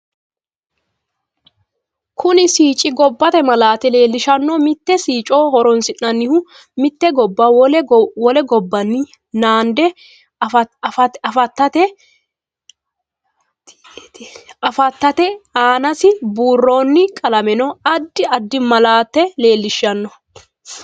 Kuni sicci gobbate malaate leelishanno mitto sicco horoonsinanihu mite gobba wole gobbawiini nande afateeti aansi buurooni qalamenno addi addi malaate leelishanno